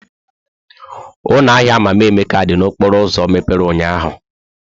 Ụlọ ahịa Mama Emeka dị n'okporo ụzọ mepere ụnyahụ?